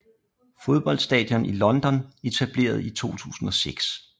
Fodboldstadioner i London Etableret i 2006